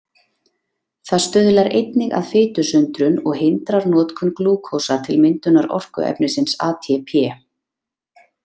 Það stuðlar einnig að fitusundrun og hindrar notkun glúkósa til myndunar orkuefnisins ATP.